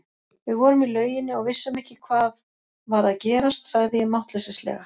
Við vorum í lauginni og vissum ekki hvað var að gerast, sagði ég máttleysislega.